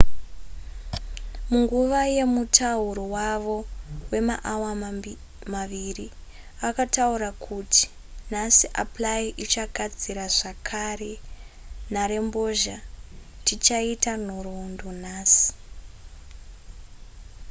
munguva yemutauro wavo wemaawa maviri akataura kuti nhasi apply ichagadzira zvakare nharembozha tichaita nhoroondo nhasi